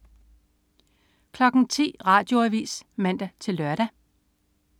10.00 Radioavis (man-lør)